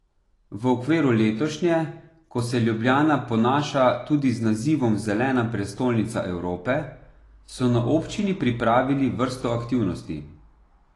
V okviru letošnje, ko se Ljubljana ponaša tudi z nazivom Zelena prestolnica Evrope, so na občini pripravili vrsto aktivnosti.